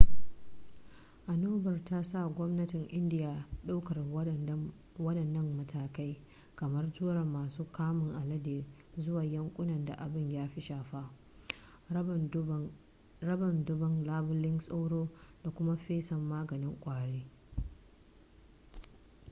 annobar ta sa gwamnatin indiya daukar waɗannan matakai kamar tura masu kamun alade zuwa yankunan da abin ya fi shafa raba dubban labulen sauro da kum fesa maganin ƙwari